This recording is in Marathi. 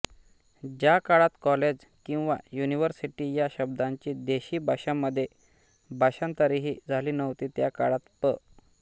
ज्या काळात कॉलेज किंवा युनिव्हर्सिटी या शब्दांची देशी भाषांमध्ये भाषांतरेही झाली नव्हती त्या काळात पं